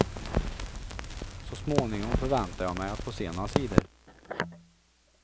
Så småningom förväntar jag mig att få se några sidor.